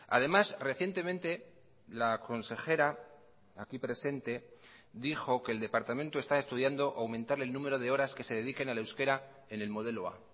además recientemente la consejera aquí presente dijo que el departamento está estudiando aumentar el número de horas que se dediquen al euskera en el modelo a